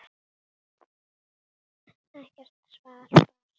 Ekkert svar barst.